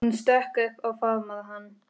Hún stökk upp og faðmaði hann.